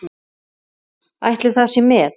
Ætli það sé met?